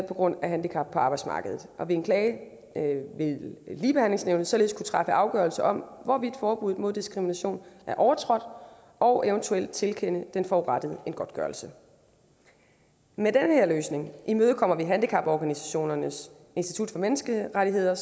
på grund af handicap på arbejdsmarkedet ved en klage vil ligebehandlingsnævnet således kunne træffe afgørelser om hvorvidt forbuddet mod diskrimination er overtrådt og eventuelt tilkende den forurettede en godtgørelse med den her løsning imødekommer vi handicaporganisationernes institut for menneskerettigheder